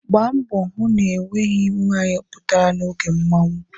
Gba mbọ hụ na o nweghi nwaanyị pụtara n'oge mmanwụ!